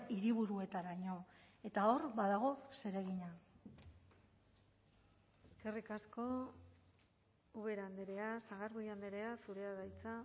hiriburuetaraino eta hor badago zeregina eskerrik asko ubera andrea sagardui andrea zurea da hitza